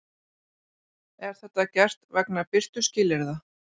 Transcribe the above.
Er þetta gert vegna birtuskilyrða